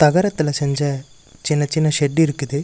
தகரத்துல செஞ்ச சின்ன சின்ன ஷெட் இருக்குது.